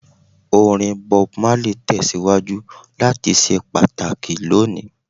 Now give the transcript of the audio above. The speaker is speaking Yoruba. Orin Bob Marley tẹsiwaju lati ṣe pataki loni.